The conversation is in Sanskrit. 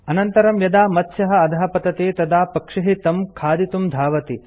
अनन्तरम् यदा मत्स्यः अधः पतति तदा पक्षिः तं खादितुं धावति